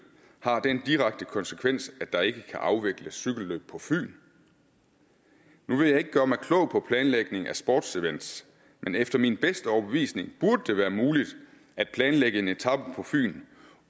har den direkte konsekvens at der ikke kan afvikles cykelløb på fyn nu vil jeg ikke gøre mig klog på planlægningen af sportevent men efter min bedste overbevisning burde det være muligt at planlægge en etape på fyn